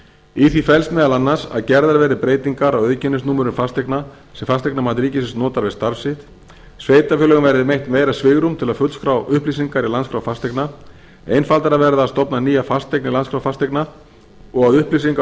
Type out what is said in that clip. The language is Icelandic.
í því felst meðal annars að gerðar verði breytingar á auðkennisnúmerum fasteigna sem fasteignamat ríkisins notar við starf sitt sveitarfélögum verði veitt meira svigrúm til að fullskrá upplýsingar í landskrá fasteigna einfaldara verði að stofna nýja fasteign í landskrá fasteigna og að upplýsingar